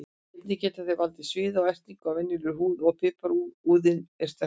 Einnig getur það valdið sviða og ertingu á venjulegri húð ef piparúðinn er sterkur.